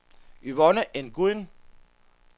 Yvonne Nguyen